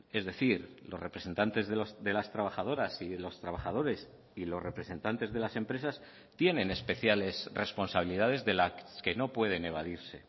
es decir los representantes de las trabajadoras y de los trabajadores y los representantes de las empresas tienen especiales responsabilidades de las que no pueden evadirse